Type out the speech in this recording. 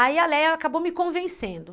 Aí a Léa acabou me convencendo.